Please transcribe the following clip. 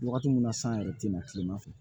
Wagati mun na san yɛrɛ tɛ na kileman fɛ